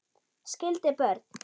Skildi börn.